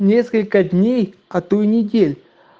несколько дней а то и недель